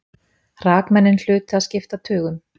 Hrakmennin hlutu að skipta tugum.